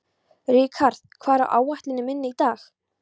Rikharð, hvað er á áætluninni minni í dag?